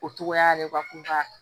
O togoya de b'a fɔ ko ka